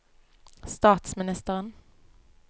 statsministeren